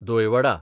दोय वडा দই বড়া